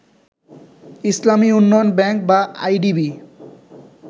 ইসলামী উন্নয়ন ব্যাংক বা আইডিবি